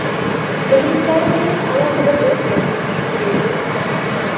Muxlislarim uchun alohida to‘y qilaman”, deydi xonanda.